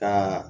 Ka